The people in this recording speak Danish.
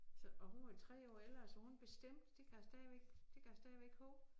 Så og hun var 3 år ældre så hun bestemte det kan jeg stadigvæk det kan jeg stadigvæk hove